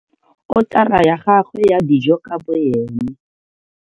Otara ya gagwe ya dijo ka boene.